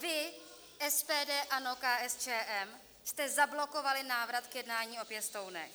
Vy, SPD, ANO, KSČM, jste zablokovali návrat k jednání o pěstounech.